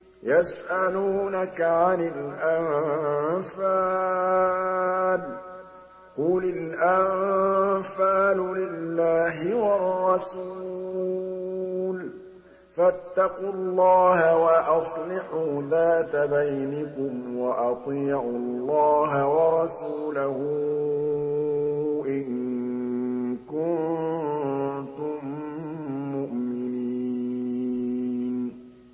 يَسْأَلُونَكَ عَنِ الْأَنفَالِ ۖ قُلِ الْأَنفَالُ لِلَّهِ وَالرَّسُولِ ۖ فَاتَّقُوا اللَّهَ وَأَصْلِحُوا ذَاتَ بَيْنِكُمْ ۖ وَأَطِيعُوا اللَّهَ وَرَسُولَهُ إِن كُنتُم مُّؤْمِنِينَ